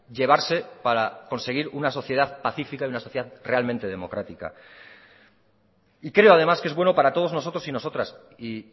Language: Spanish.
llevarse para conseguir una sociedad pacífica y una sociedad realmente democrática y creo ademá que es bueno para todos nosotros y nosotras y